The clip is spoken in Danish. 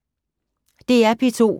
DR P2